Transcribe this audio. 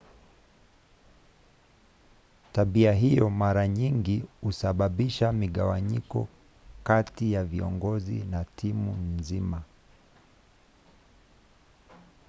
tabia hiyo mara nyingi husababisha migawanyiko kati ya viongozi na timu nzima